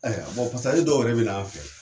dɔw yɛrɛ bɛ na an fɛ